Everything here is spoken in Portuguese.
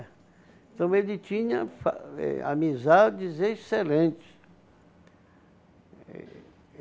Então ele tinha eh amizades excelentes.